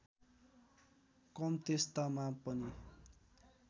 कम त्यस्तामा पनि